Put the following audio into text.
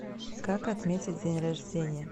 как отметить день рождения